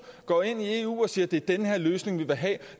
går ind i eu og siger det er den her løsning vi vil have